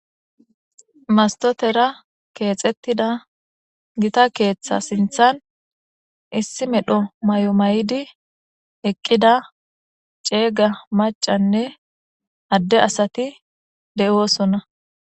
mastotera keexettida gita keeththa sinthan issi medho may7o may7di eqqida ceega macanne adde asati de7osonna